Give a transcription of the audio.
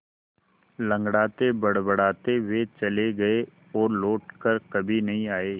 लँगड़ाते बड़बड़ाते वे चले गए और लौट कर कभी नहीं आए